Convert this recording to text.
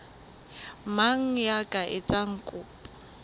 mang ya ka etsang kopo